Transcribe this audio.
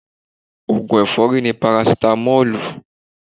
Ògùn ẹ̀fọ́rí ni parasitamọ́lù